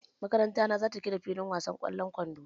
Makaranta na za ta gina filin wasan ƙwallon kwando.